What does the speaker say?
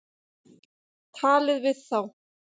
Talið við þá.